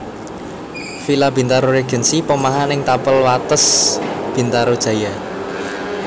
Villa Bintaro Regency Pomahan ing tapel wates Bintaro Jaya